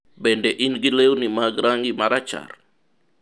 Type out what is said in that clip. bende in gi lewni mag rangi marachar?